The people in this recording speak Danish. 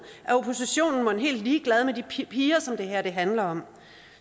er oppositionen mon helt ligeglad med de piger som det her handler om